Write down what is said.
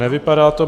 Nevypadá to.